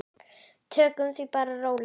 Tökum því bara rólega.